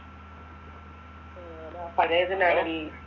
പഴയതിനാക്കി